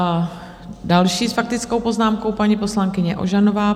A další s faktickou poznámkou - paní poslankyně Ožanová.